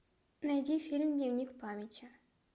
найди фильм дневник памяти